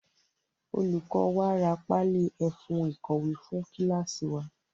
Olùkọ wa ra páálí ẹfun ìkọ̀wé fún kíláásì wa.